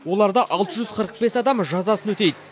оларда алты жүз қырық бес адам жазасын өтейді